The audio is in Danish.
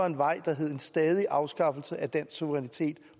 en vej der hed en stadig afskaffelse af dansk suverænitet